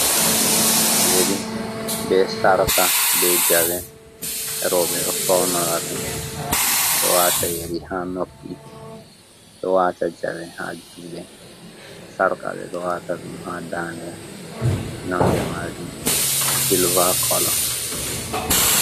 Yeri be sarqa be jawe. Rooɓe ɗo faunora ɗum, ɓe ɗo waata yeri ha noppi, ɗo waata jawe ha juuɗe, sarqa ɓe ɗo waata ɗum ha daande, nonde majum silva kolo.